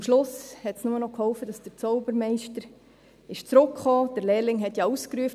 Am Schluss half nur noch, dass der Zaubermeister zurückkam – der Lehrling hatte ja ausgerufen: